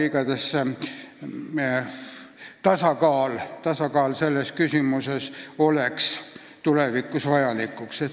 Igatahes tasakaal selles küsimuses oleks tulevikus vajalik.